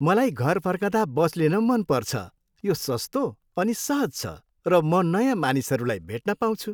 मलाई घर फर्कँदा बस लिन मन पर्छ। यो सस्तो अनि सहज छ र म नयाँ मानिसहरूलाई भेट्न पाउँछु।